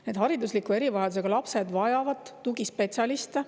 Need haridusliku erivajadusega lapsed vajavad tugispetsialiste.